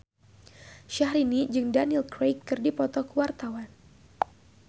Syahrini jeung Daniel Craig keur dipoto ku wartawan